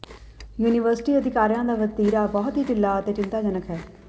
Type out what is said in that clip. university ਅਧਿਕਾਰੀਆਂ ਦਾ ਵਤੀਰਾ ਬਹੁਤ ਹੀ ਢਿੱਲਾ ਅਤੇ ਚਿੰਤਾਜਨਕ ਹੈ